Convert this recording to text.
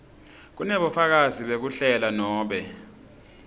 kunebufakazi bekuhlela nobe